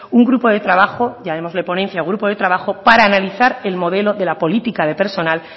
un grupo de trabajo llamémosle ponencia o grupo de trabajo para analizar el modelo de la política de personal